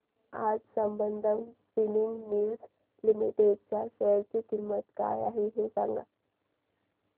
आज Sambandam spinning mills limited च्या share ची किंमत काय आहे हे सांगा